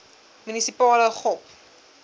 munisipale gop